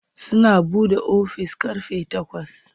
Suna buɗe ofis ƙarfe takwas.